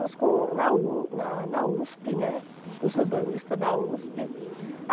com na U na na Uspe, né, com os urbanistas da Uspe.